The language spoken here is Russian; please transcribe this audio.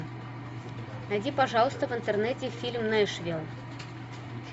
найди пожалуйста в интернете фильм нэшвилл